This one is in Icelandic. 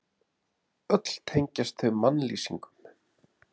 Öll tengjast þau mannlýsingum.